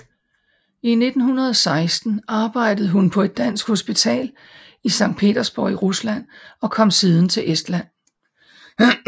I 1916 arbejdede hun på et dansk hospital i Sankt Petersborg i Rusland og kom siden til Estland